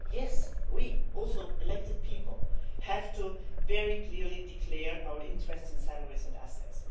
Yes, we as elected people also have to very clearly declare our interests, salaries and assets.